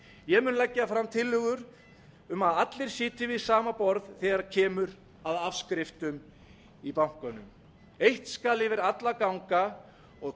ég mun leggja fram tillögur um að allir sitji við sama borð þegar kemur að afskriftum í bönkunum eitt skal yfir alla ganga og